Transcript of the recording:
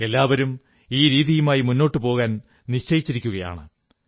എല്ലാവരും ഈ രീതിയുമായി മുന്നോട്ടു പോകാൻ നിശ്ചയിച്ചിരിക്കയുമാണ്